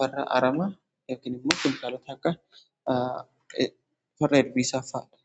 farra aramaa ykn immoo keemikaalota akka farra ilbiisaa fa'aadha.